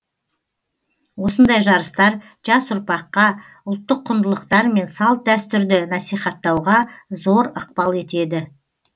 осындай жарыстар жас ұрпаққа ұлттық құндылықтар мен салт дәстүрді насихаттауға зор ықпал етеді